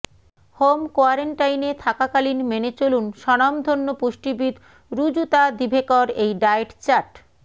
home কোয়ারেন্টাইনে থাকাকালীন মেনে চলুন স্বনামধন্য পুষ্টিবিদ রুজুতা দিভেকর এই ডায়েট চার্ট